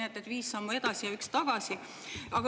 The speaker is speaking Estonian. Nii et viis sammu edasi ja üks tagasi.